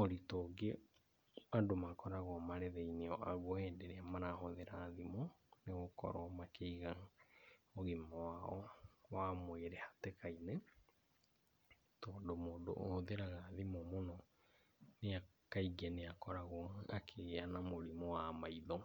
Ũndũ ũngĩ andũ makoragwo marĩ thĩinĩ waguo hĩndĩ ĩrĩa marahũthĩra thimũ nĩ gũkorwo makĩiga ũgima wao wa mwĩrĩ hatĩka-inĩ, tondũ mũndũ ũhũthĩraga thimũ mũno kaingĩ nĩ akoragwo akĩgĩa na mũrimũ wa maitho.